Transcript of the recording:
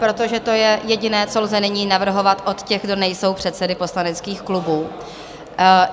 Protože to je jediné, co lze nyní navrhovat od těch, kdo nejsou předsedy poslaneckých klubů.